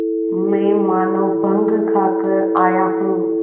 मैं मानों भंग खाकर आया हूँ